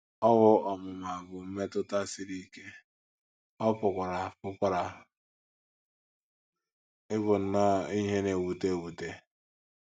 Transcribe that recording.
Owu ọmụma bụ mmetụta siri ike, ọ pụkwara pụkwara ịbụ nnọọ ihe na - ewute ewute.